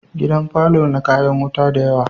Gidan parlour na kayan wuta da yawa